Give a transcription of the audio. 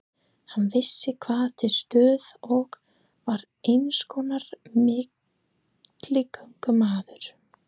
Hann vissi hvað til stóð og var einskonar milligöngumaður.